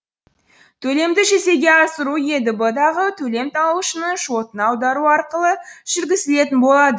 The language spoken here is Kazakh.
төлемді жүзеге асыру едб дағы төлем алушының шотына аудару арқылы жүргізілетін болады